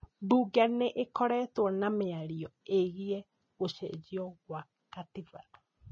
Bunge nĩ ĩkoretwo na mĩario ĩgiĩ gũcenjio gwa gatiba